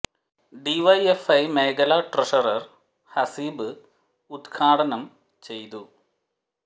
D Y F I മേഖല treasurer Haseeb ഉദ്ഘാടനം ചെയ്തു